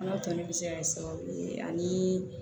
Ala toli bɛ se ka kɛ sababu ye ani